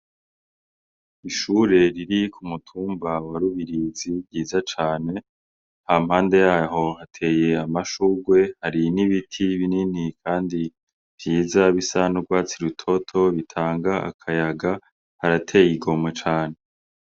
Ishure riri ku mutumba wa rubirizi ryiza cane ha mpande yaho hateye amashurwe hari n'ibiti binini, kandi vyiza bisana urwatsi rutoto bitanga akayaga harateye igomwe cane.